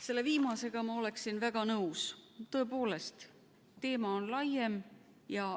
" Selle viimasega ma olen väga nõus, tõepoolest, teema on laiem.